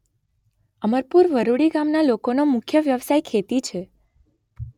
અમરપુર વરૂડી ગામના લોકોનો મુખ્ય વ્યવસાય ખેતી છે.